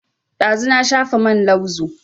Ɗazu na shafa man lauzu